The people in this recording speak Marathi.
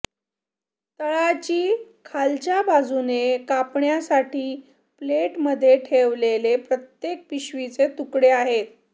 तळाची खालच्या बाजूने कापण्यासाठी प्लेटमध्ये ठेवलेले प्रत्येक पिशवीचे तुकडे आहेत